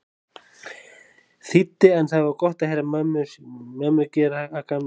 þýddi en það var gott að heyra mömmu gera að gamni sínu.